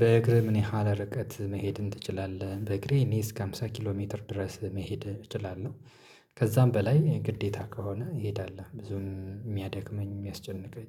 በእግርህ ምን ያህል ርቀት መሄድን ትችላለህ? በእግሬ እኔ እስከ ሃምሳ ኪሎ ሜትር ድረስ መሄድ እችላለሁ። ከዛም በላይ ግዴታ ከሆነ እሄዳለሁ ብዙም የሚያደክመኝ የሚያስጨንቀኝ